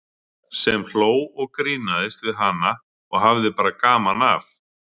Sem hló og grínaðist við hana og hafði bara gaman af.